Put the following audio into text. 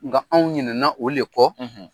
Nga anw ɲinɛna o le kɔ